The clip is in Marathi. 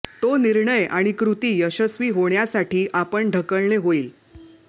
तो निर्णय आणि कृती यशस्वी होण्यासाठी आपण ढकलणे होईल